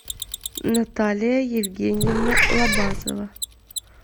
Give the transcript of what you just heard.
наталья евгеньевна лобазова